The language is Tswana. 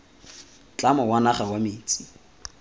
tlamo wa naga wa metsi